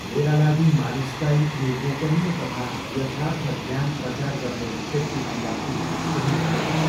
मेरा लागि मानिसलाई यो गोपनीय तथा यथार्थ ज्ञान प्रचार गर्ने व्यक्तिभन्दा प्रिय कोही हुँदैन।